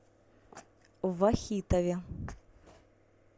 вахитове